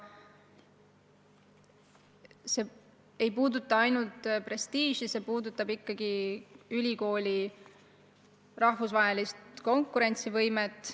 See ei puuduta ainult prestiiži, see puudutab ikkagi ülikooli rahvusvahelist konkurentsivõimet.